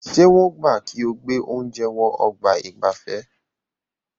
Ṣé wọ́n gbà kí o gbé oúnjẹ wọ ọ̀gbà ìgbafẹ́?